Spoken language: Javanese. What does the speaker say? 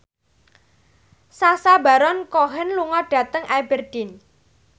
Sacha Baron Cohen lunga dhateng Aberdeen